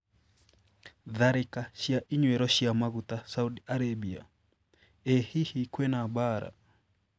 Tharĩka cia inyuĩro cia maguta Saudi Arabia: Ĩ hihi kwĩna mbaara?